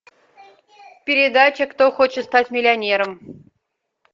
передача кто хочет стать миллионером